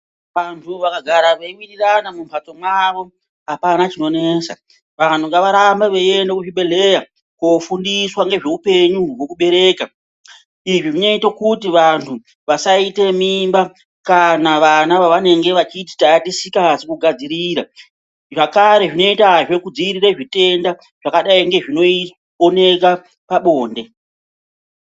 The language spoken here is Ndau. Vantu vakagara veiwirirana mumbatso mwavo hapana chinonetsa. Vantu ngavarambe veiiende kuzvibhedhleya koofundiswa ngezveupenyu hwekubereka. Izvi zvinoite kuti vantu vasaita mimba kana vana vavanenge vachiti taatisikazi kugadzirira. Zvakare zvinoitazve kudzirira zvitenda zvakadai ngezvinooneka pabonde.